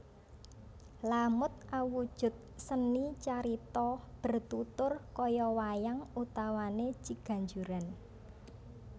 Lamut awujud seni carita bertutur kaya wayang utawane ciganjuran